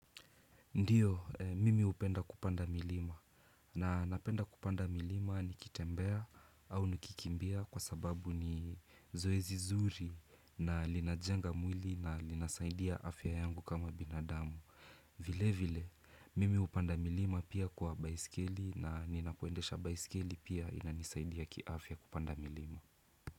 Ndiyo, mimi upenda kupanda milima. Na napenda kupanda milima nikitembea au nikikimbia kwa sababu ni zoezi zuri na linajenga mwili na linasaidia afya yangu kama binadamu. Vile vile, mimi hupanda milima pia kwa baisikeli na ninapoendesha baisikeli pia inanisaidia kiafya kupanda milima.